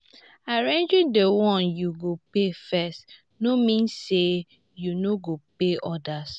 arranging the one yu go pay first no mean say yu no go pay odas.